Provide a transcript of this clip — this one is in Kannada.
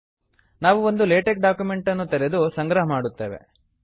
ನಾವು ಒಂದು ಲೇಟೆಕ್ ಡಾಕ್ಯುಮೆಂಟನ್ನು ತೆರೆದು ಸಂಗ್ರಹ ಮಾಡುತ್ತೇವೆ